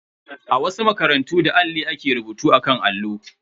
A wasu makarantu, da alli ake rubutu akan allo.